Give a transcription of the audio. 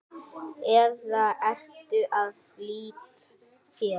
eða ertu að flýta þér?